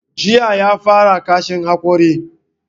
Jiya ya fara kashin hakori.